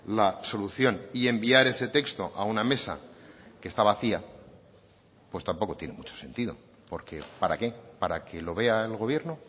la solución y enviar ese texto a una mesa que está vacía pues tampoco tiene mucho sentido porque para qué para que lo vea el gobierno